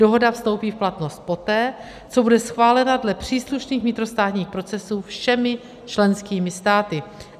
Dohoda vstoupí v platnost poté, co bude schválena dle příslušných vnitrostátních procesů všemi členskými státy.